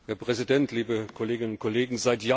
Herr Präsident, liebe Kolleginnen und Kollegen!